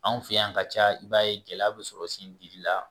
Anw fɛ yan ka caya i b'a ye gɛlɛya be sɔrɔ sen gili la